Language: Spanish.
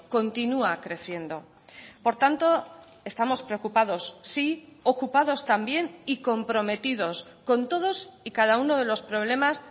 continua creciendo por tanto estamos preocupados sí ocupados también y comprometidos con todos y cada uno de los problemas